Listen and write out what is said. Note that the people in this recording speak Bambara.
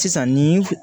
Sisan nin